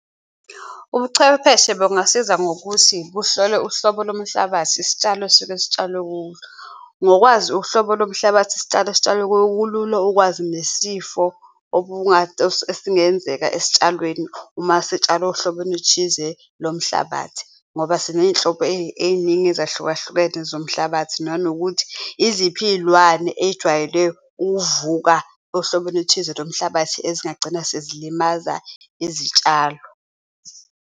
Ubuchwepheshe bungasiza ngokuthi buhlole uhlobo lomuhlabathi, isitshalo esisuke sitshalwe kuwo. Ngokwazi uhlobo lomhlabathi isitshalo, esitshalwe kuwo, kulula nokwazi nesifo esingenzeka esitshalweni uma sitshalwe ohlobeni oluthize lomhlabathi ngoba siney'nhlobo ey'ningi ezahlukahlukene zomhlabathi, nanokuthi iziphi iyilwane eyijwayele uvuka ohlobeni oluthize lomhlabathi ezingagcina sezilimaza izitshalo.